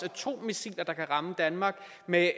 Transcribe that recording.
atommissiler der kan ramme danmark med